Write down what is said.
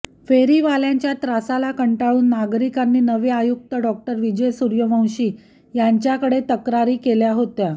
फेरीवाल्यांच्या त्रासाला कंटाळून नागरिकांनी नवे आयुक्त डॉ विजय सूर्यवंशी यांच्याकडे तक्रारी केल्या होत्या